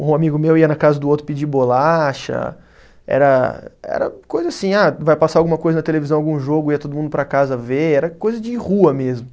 Um amigo meu ia na casa do outro pedir bolacha, era era coisa assim, ah vai passar alguma coisa na televisão, algum jogo, ia todo mundo para casa ver, era coisa de rua mesmo.